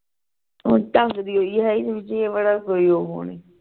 ਹੋਰ ਢੰਗ ਦੀ ਹੈ ਹੀ ਨੀ